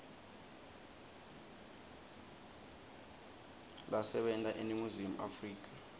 lasebenta eningizimu afrika